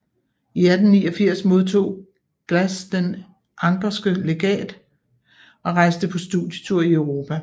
I 1889 modtog Glass Det anckerske Legat og rejste på studietur i Europa